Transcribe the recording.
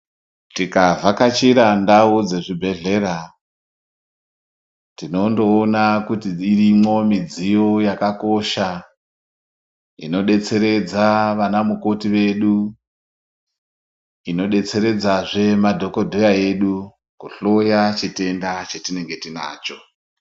Tikavhachira ndau dzezvibhehlera tinondoona kuti dzirimwo mudziyo dzakakosha inodetseredza vana mukoti vedu inodetseredza zve madhokodheya edu kuhloya chitenda chetinenge tinacho.